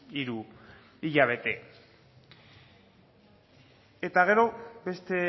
hiru hilabete eta gero beste